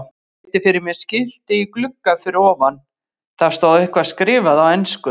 Virti fyrir mér skilti í glugga fyrir ofan, það stóð eitthvað skrifað á ensku.